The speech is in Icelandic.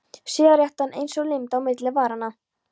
Sígarettan eins og límd á milli varanna.